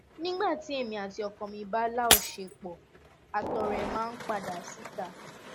nígbà tí èmi àti ọkọ mi bá láọṣepọ àtọ rẹ máa ń padà síta